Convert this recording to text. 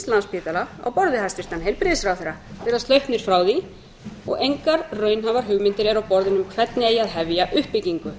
landspítala á borð við hæstvirtan heilbrigðisráðherra virðast hlaupnir frá því og engar raunhæfar hugmyndir eru á borðinu um hvernig eigi að hefja uppbyggingu